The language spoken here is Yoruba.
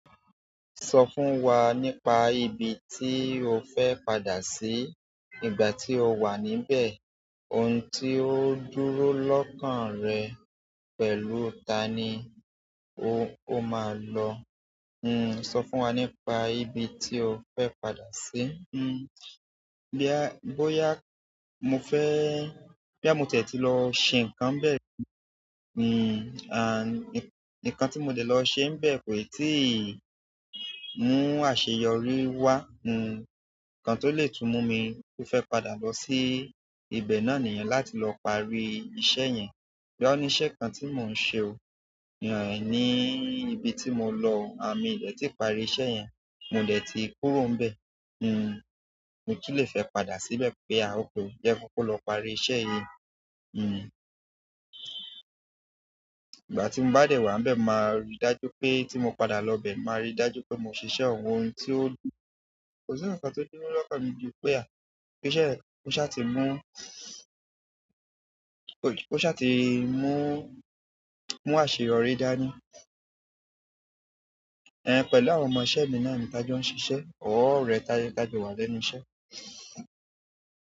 Sọ fún wa nípa ibi tí o fẹ́ padà sí ìgbà tí o wà níbẹ̀, ohun tí ó dúró lọ́kàn rẹ, pẹ̀lú ta ni o máa lọ? Hmm, sọ fún wa nípa ibi tí o fẹ́ padà sí. Hmm, bí a, bóyá mo fẹ́-- bí mó tẹ́tí lọ ṣe nǹkan níbẹ̀ ri hmm, à, ní, nǹkan tí mo lè lọ ṣe bẹ̀ kò ẹ̀ tíì mú àṣeyọrí wá, hmm, nǹkan tó lè tú mú mi kó fẹ́ padà lọ sí ibẹ̀ náà nìyẹn láti lọ parí iṣẹ́ yẹn. Bóyá ó ní iṣẹ́ kan tí mò ń ṣe o, ní ibi tí mo lọ, à mí ò dẹ̀ tí parí iṣẹ́ yẹn, mo dẹ̀ tí kúrò níbẹ̀. Hmm, mo tún è fẹ́ padà síbẹ̀ pé à, okay, jé kín kókó lọ parí iṣẹ́ yìí. Hmm, ìgbà tí mo bá dẹ̀ wá níbẹ̀, máa rí i dájú pé tí mo padà lọ ibẹ̀, máa rí i dájú pé mò ń ṣiṣẹ́ àwọn ohun tí ó-- kò sí nǹkan tó dúró lọ́kàn mi ju pé à, pé iṣẹ́ yẹn kó ṣá ti mú, kó ṣá ti mú, mú àṣeyọrí dá ní. Ehn, pẹ̀lú àwọn ọmọ iṣẹ̀ or ọ̀rẹ́ tí a jọ wà lẹ́nu iṣẹ́.